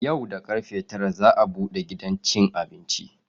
Yau da karfe tara za a bude gidan cin abinci.